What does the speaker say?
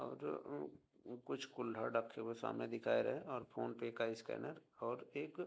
और उ कुछ कुल्हड़ रखे हुए सामने दिखा रहे है और फ़ोन पे का स्कैनर और एक --